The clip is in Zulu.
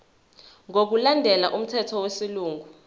ngokulandela umthetho wesilungu